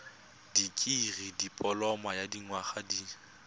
dikirii dipoloma ya dinyaga di